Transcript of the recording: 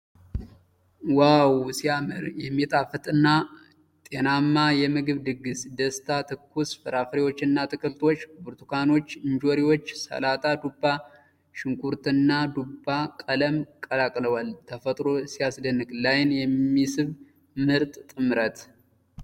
ዋው ሲያምር! የሚጣፍጥና ጤናማ የምግብ ድግስ! ደስታ! ትኩስ ፍራፍሬዎችና አትክልቶች! ብርቱካኖች፣ እንጆሪዎች፣ ሰላጣ፣ ዱባ፣ ሽንኩርትና ዱባ ቀለም ቀላቅለዋል። ተፈጥሮ ሲያስደንቅ! ለዓይን የሚስብ ምርጥ ጥምረት!